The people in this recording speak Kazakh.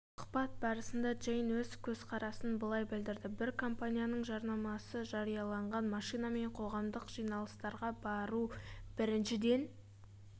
сұхбат барысында джейн өз көзқарасын былай білдірді бір компанияның жарнамасы жарияланған машинамен қоғамдық жиналыстарға бару біріншіден